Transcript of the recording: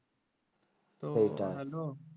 তো